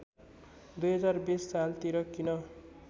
२०२० सालतिर किन